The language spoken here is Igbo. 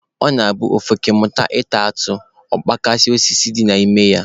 Ọ na-abụ ofeke mụta ịta atụ, ọ kpajisie osisi dị n'ama nna ya